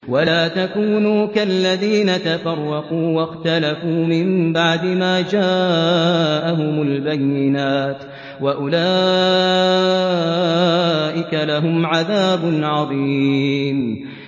وَلَا تَكُونُوا كَالَّذِينَ تَفَرَّقُوا وَاخْتَلَفُوا مِن بَعْدِ مَا جَاءَهُمُ الْبَيِّنَاتُ ۚ وَأُولَٰئِكَ لَهُمْ عَذَابٌ عَظِيمٌ